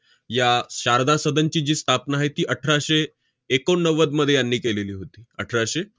या शारदा सदनची जी स्थापना आहे ती अठराशे एकोणनव्वदमध्ये यांनी केलेली होती, अठराशे